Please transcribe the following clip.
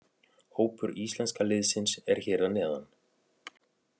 Hópur íslenska liðsins er hér að neðan.